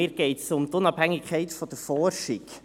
Mir geht es um die Unabhängigkeit der Forschung.